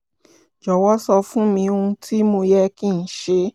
jọ̀wọ́ sọ fún mi ohun tí mo yẹ kí n ṣe